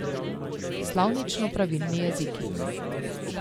Slovnično pravilni jeziki.